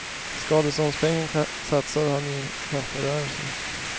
Skadeståndspengarna satsade han i en kaferörelse.